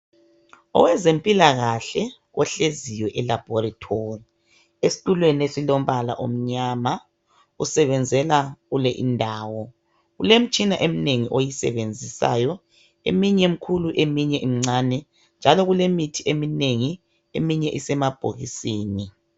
Owezempilakahle ohleziyo elabhorithori esitulweni esilompala omnyama usebenzela kuleyi indawo. Kulemitshina eminengi oyisebenzisayo eminye mikhulu eminye imncane njalo kulemithi eminengi eminye isemabhokisini.